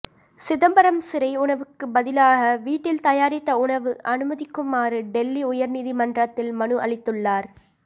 சிதம்பரம் சிறை உணவுக்கு பதிலாக வீட்டில் தயாரித்த உணவு அனுமதிக்குமாறு டெல்லி உயர்நீதிமன்றத்தில் மனு அளித்துள்ளார்